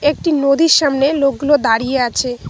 একটি নদীর সামনে লোকগুলো দাঁড়িয়ে আছে।